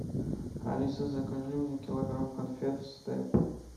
алиса закажи мне килограмм конфет степ